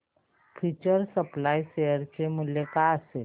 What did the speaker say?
future supply share चे मूल्य काय असेल